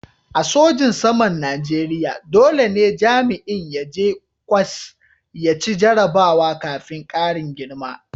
A sojin saman Najeriya dole ne jami'in ya je ƙwas ya ci jarrabawa kafin karin girma.